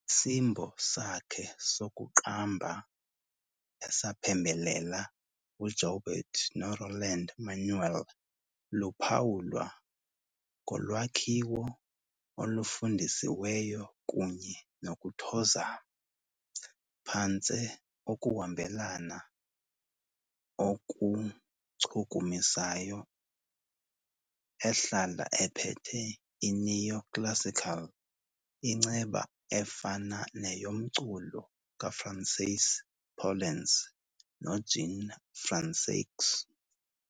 Isimbo sakhe sokuqamba, esaphembelela uJaubert noRoland-Manuel, luphawulwa ngolwakhiwo olufundisiweyo kunye nokuthozama, phantse ukuhambelana okuchukumisayo, ehlala ephethe i-neo-classical inceba efana neyomculo kaFrancis Poulenc noJean Françaix.